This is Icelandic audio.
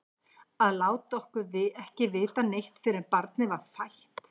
Að láta okkur ekki vita neitt fyrr en barnið var fætt!